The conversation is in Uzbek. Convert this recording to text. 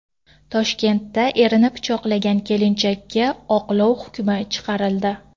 Toshkentda erini pichoqlagan kelinchakka oqlov hukmi chiqarildi.